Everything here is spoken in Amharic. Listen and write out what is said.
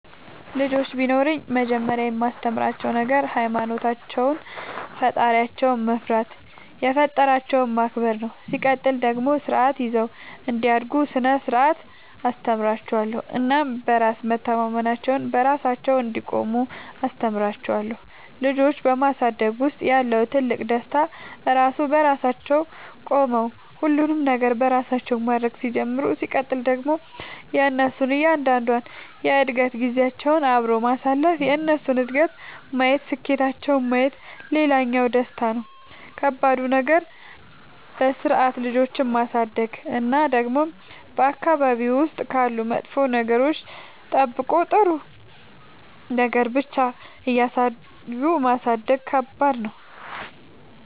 ልጆች ቢኖሩኝ መጀመሪያ የማስተምራቸዉ ነገር ሃይማኖታቸውን ፈጣሪያቸውን መፍራት የፈጠራቸውን ማክበር ነው ሲቀጥል ደግሞ ስርዓት ይዘው እንዲያድጉ ስነ ስርዓት አስተምራችኋለሁ እናም በራስ መተማመናቸውን, በራሳቸው እንዲቆሙ አስተምራቸዋለሁ። ልጆች በማሳደግ ውስጥ ያለው ትልቁ ደስታ እነሱ በራሳቸው ቆመው ሁሉንም ነገር በራሳቸው ማድረግ ሲጀምሩ ሲቀጥል ደግሞ የእነሱን እያንዳንዷን የእድገት ጊዜያቸውን አብሮ ማሳለፍ የእነሱን እድገት ማየት ስኬታቸውን ማየት ሌላኛው ደስታ ነው። ከባዱ ነገር በስርዓት ልጆችን ማሳደግ እና ደግሞ በአካባቢ ውስጥ ካሉ መጥፎ ነገሮች ጠብቆ ጥሩ ነገር ብቻ እያሳዩ ማሳደግ ከባድ ነው።